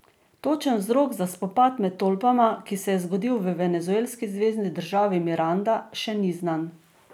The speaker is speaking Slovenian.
Točen vzrok za spopad med tolpama, ki se je zgodil v venezuelski zvezni državi Miranda, še ni znan.